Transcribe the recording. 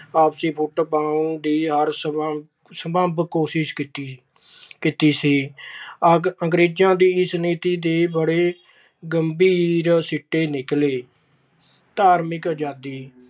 ਆਪਸੀ ਫੁੱਟ ਪਾਉਣ ਦੀ ਹਰ ਸੰਭਵ ਕੋਸ਼ਿਸ਼ ਕੀਤੀ। ਅੰਗਰੇਜਾਂ ਦੀ ਇਸ ਨੀਤੀ ਦੇ ਬੜੇ ਗੰਭੀਰ ਸਿੱਟੇ ਨਿਕਲੇ। ਧਾਰਮਿਕ ਆਜਾਦੀ-